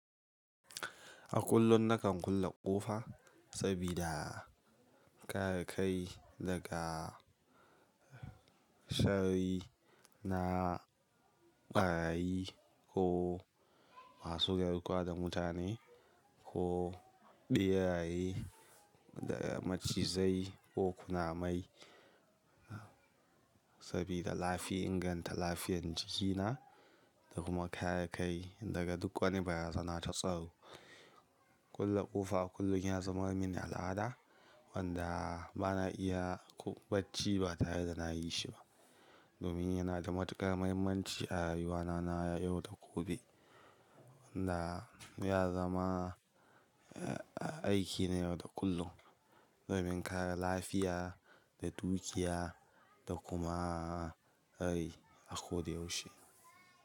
A kullum na kan kulle ƙofa sabida kare kai daga sharri na ɓarayi ko masu garkuwar da mutane ko ɓeraye da macizai ko kunamai sabida lafi inganta lafiyan jikina da kuma kare kai daga duk wani barazana ta tsaro. Kulle ƙofa kullum ya zama mini al'ada wanda bana iya kum-- bacci ba tare da nayi shi ba domin yana da matuƙar muhimmanci a rayuwana na yau da gobe wanda ya zama aiki ne yau da kullum domin kare lafiya da dukiya da kuma rai a ko da yaushe.